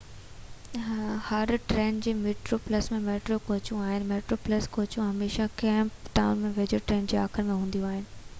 هر train کي metro plus ۽ metro ڪوچون آهن ميٽرو پلس ڪوچون هميشه ڪيپ ٽائون جي ويجهو ٽرين جي آخر ۾ هونديون آهن